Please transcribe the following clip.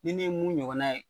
Ni ne ye mun ɲɔgɔnna ye.